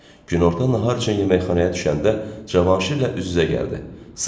Günorta nahar üçün yeməkxanaya düşəndə Cavanşirlə üz-üzə gəldi, salam verdi.